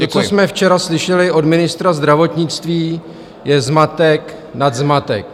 To, co jsme včera slyšeli od ministra zdravotnictví, je zmatek nad zmatek.